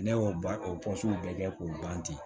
Ne y'o ban o bɛɛ kɛ k'o ban ten